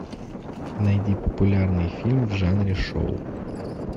найди популярный фильм в жанре шоу